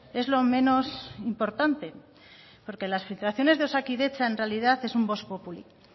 es lo menos importante porque las filtraciones de osakidetza en realidad es un vox populi